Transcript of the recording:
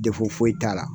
Defu foyi t'a la